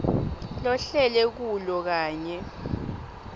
lohlele kulo kanye